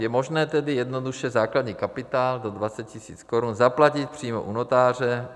Je možné tedy jednoduše základní kapitál do 20 000 korun zaplatit přímo u notáře.